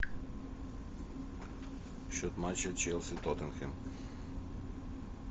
счет матча челси тоттенхэм